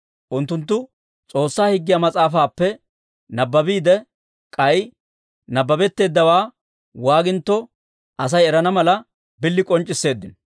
Unttunttu S'oossaa Higgiyaa Mas'aafaappe nabbabiide, k'ay nabbabetteeddawe waagintto, Asay erana mala, bili k'onc'c'isseeddino.